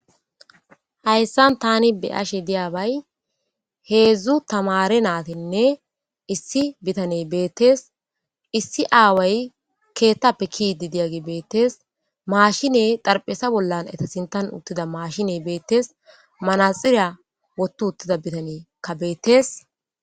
Hayisani tani beyashshe dizabayi hezdzdu tamare nayitinne issi bitanneyi beteesi issi aawayi keeththappe kezidi diyabi beettsi mashinneyi xaarapheza bola eyita sinthani uttida mashinneyi beettesi manaxire woththi uttida bitanneyikka beettesi